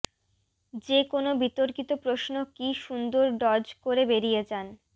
যে কোনও বিতর্কিত প্রশ্ন কী সুন্দর ডজ করে বেরিয়ে যান